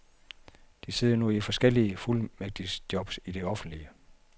De sidder nu i forskellige fuldmægtigjobs i det offentlige.